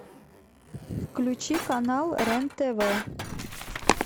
включи канал рен тв